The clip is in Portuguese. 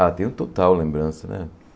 Ah, tenho total lembrança, né?